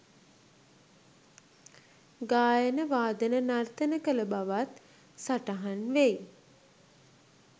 ගායන වාදන නර්තන කළ බවත් සටහන්වෙයි